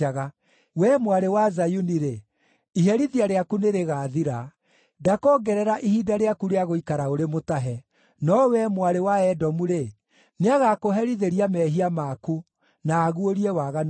Wee Mwarĩ wa Zayuni-rĩ, iherithia rĩaku nĩrĩgathira; ndakoongerera ihinda rĩaku rĩa gũikara ũrĩ mũtahe. No wee, Mwarĩ wa Edomu-rĩ, nĩagakũherithĩria mehia maku na aguũrie waganu waku.